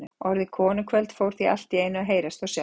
Orðið konukvöld fór því allt í einu að heyrast og sjást.